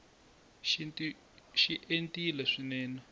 xintu xi entile swinene